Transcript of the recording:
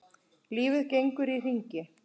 Lífið gengur í hringi.